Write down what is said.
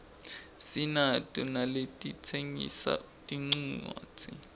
sinato naletitsengisa tincuadzi